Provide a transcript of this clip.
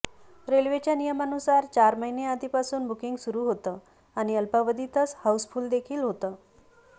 रेल्वेच्या नियमानुसार चार महिने आधीपासून बुकिंग सुरू होतं आणि अल्पावधीतच हाऊसफुल्ल देखील होतं